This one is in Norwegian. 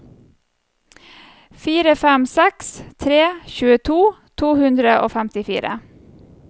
fire fem seks tre tjueto to hundre og femtifire